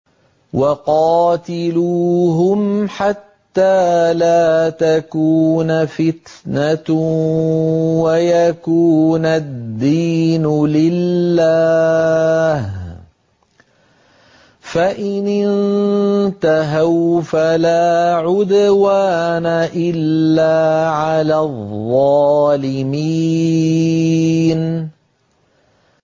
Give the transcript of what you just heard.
وَقَاتِلُوهُمْ حَتَّىٰ لَا تَكُونَ فِتْنَةٌ وَيَكُونَ الدِّينُ لِلَّهِ ۖ فَإِنِ انتَهَوْا فَلَا عُدْوَانَ إِلَّا عَلَى الظَّالِمِينَ